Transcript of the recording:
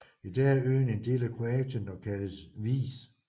I dag er øen en del af Kroatien og kaldes Vis